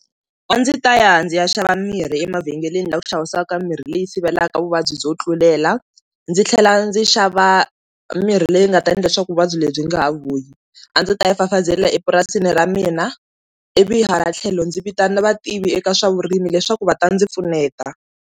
A ndzi ta ya ndzi ya xava mirhi emavhengeleni lava xavisaka mimirhi leyi sivelaku vuvabyi byo tlulela ndzi tlhela ndzi xava mirhi leyi nga ta endla leswaku vuvabyi lebyi nga ha vuyi, a ndzi ta ya fafazela epurasini ra mina ivi hala tlhelo ndzi vitana vativi eka swa vurimi leswaku va ta ndzi pfuneta.